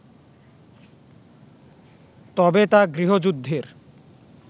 তবে তা গৃহযুদ্ধের